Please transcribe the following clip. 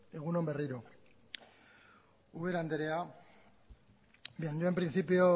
egun on berriro ubera anderea yo en principio